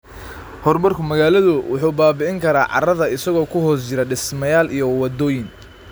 Horumarka magaaladu wuxuu baabi'in karaa carrada isagoo ku hoos jira dhismayaal iyo waddooyin.